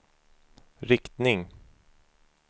riktning